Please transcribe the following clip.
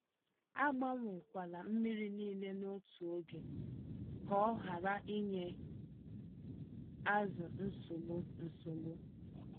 Agbanwe kwala mmírí nile n'otu ógè, kọ hara ịnye azụ nsogbu. nsogbu.